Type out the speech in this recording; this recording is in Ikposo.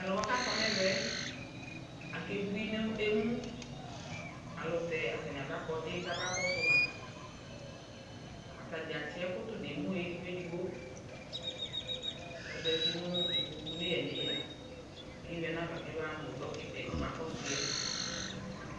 Aluwa ku akɔ nu ɛvɛ yɛ akebui nu emu Alutɛ atani aba ɔgbadudza kamaƙɔsu ma Atadza atsi ɛku tu nu emu edigbo edigbo ku aza uti nu ikpokou nu eya nu eya ku eyui anava kɛmamu ɔgbaduni yɛ